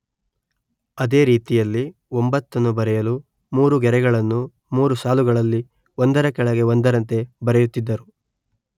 ಅದೇ ರೀತಿಯಲ್ಲಿ ಒಂಬತ್ತನ್ನು ಬರೆಯಲು ಮೂರು ಗೆರೆಗಳನ್ನು ಮೂರು ಸಾಲುಗಳಲ್ಲಿ ಒಂದರ ಕೆಳಗೆ ಒಂದರಂತೆ ಬರೆಯುತ್ತಿದ್ದರು.